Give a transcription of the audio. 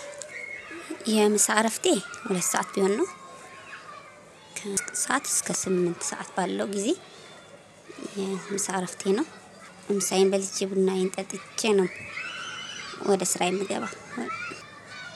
የምሳ እረፍቴ ሁለት ሰዓት ቢሆን ነው ከሰአት እስከ ስምንት ሰዓት ባለው ጊዜ። የምሳ እረፍቴ ነው። ምሳዬን በልጄ ቡናዬን ጠጥቼ ነው። ወደ ስራ የምገባው